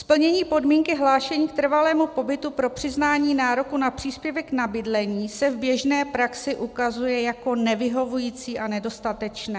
Splnění podmínky hlášení k trvalému pobytu pro přiznání nároku na příspěvek na bydlení se v běžné praxi ukazuje jako nevyhovující a nedostatečné.